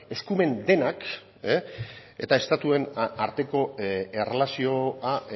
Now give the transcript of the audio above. eskumen denak eta estatuen arteko erlazioa